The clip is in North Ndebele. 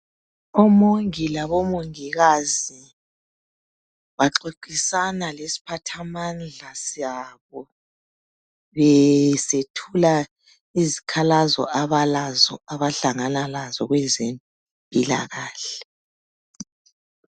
Omongi labomongikazi baxoxisa lesiphathamandla sabo. Besethula izikhalazo abalazo, abahlangana lazo kwezempilakahle.